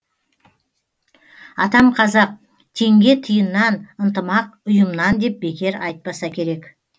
атам қазақ теңге тиыннан ынтымақ ұйымнан деп бекер айтпаса керек